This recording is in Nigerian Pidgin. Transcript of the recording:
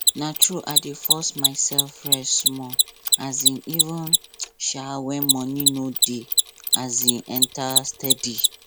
na true i dey force myself rest small um even um when money no dey um enter steady